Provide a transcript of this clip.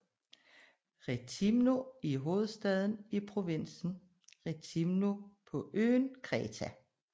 Rethimno er hovedstaden i provinsen Rethimno på øen Kreta